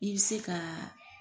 I bɛ se kaa